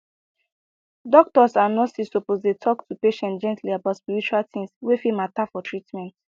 doctors and nurses suppose dey talk to patients gently about spiritual things wey fit matter for treatment